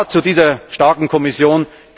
Ja zu dieser starken Kommission!